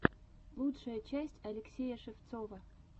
лучшая часть алексея шевцова